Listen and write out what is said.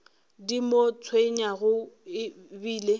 di mo tshwenyago e bile